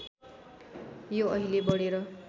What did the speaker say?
यो अहिले बढेर